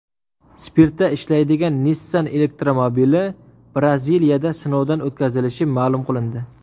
Spirtda ishlaydigan Nissan elektromobili Braziliyada sinovdan o‘tkazilishi ma’lum qilindi.